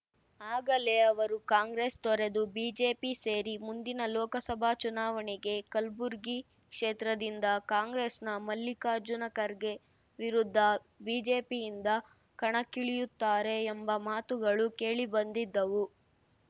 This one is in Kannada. ಆಗಲೇ ಅವರು ಕಾಂಗ್ರೆಸ್ ತೊರೆದು ಬಿಜೆಪಿ ಸೇರಿ ಮುಂದಿನ ಲೋಕಸಭಾ ಚುನಾವಣೆಗೆ ಕಲ್ಬುರ್ಗಿ ಕ್ಷೇತ್ರದಿಂದ ಕಾಂಗ್ರೆಸ್‌ನ ಮಲ್ಲಿಕಾರ್ಜುನ ಖರ್ಗೆ ವಿರುದ್ಧ ಬಿಜೆಪಿಯಿಂದ ಕಣಕ್ಕಿಳಿಯುತ್ತಾರೆ ಎಂಬ ಮಾತುಗಳು ಕೇಳಿ ಬಂದಿದ್ದವು